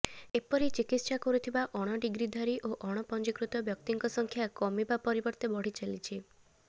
ଏପରି ଚିକିତ୍ସା କରୁଥିବା ଅଣଡିଗ୍ରିଧାରୀ ଓ ଅଣପଞ୍ଜୀକୃତ ବ୍ୟକ୍ତିଙ୍କ ସଂଖ୍ୟା କମିବା ପରିବର୍ତେ ବଢ଼ି ଚାଲିଛି